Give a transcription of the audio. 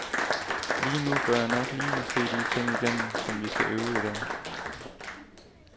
Lige nu bør jeg nok lige se de ting igennem, som vi skal øve i dag.